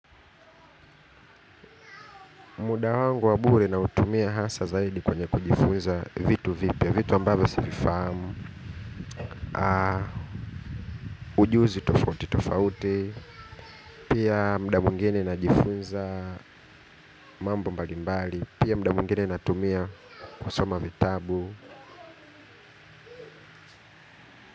Muda wangu wabure na utumia hasa zaidi kwenye kujifunza vitu vipya, vitu ambavyo sivifahamu, ujuzi tofauti tofauti, pia mda mwingine na jifunza mambo mbali mbali, pia mda mwingine na tumia kusoma vitabu.